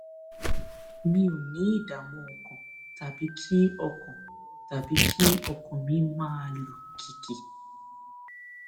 mi ò ní ìdààmú ọkàn tàbí kí ọkàn tàbí kí ọkàn mi máa lù kìkì